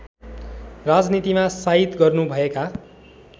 राजनीतिमा साइत गर्नुभएका